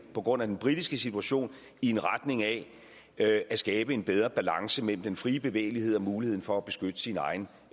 på grund af den britiske situation i retning af at skabe en bedre balance mellem den fri bevægelighed og muligheden for at beskytte sit eget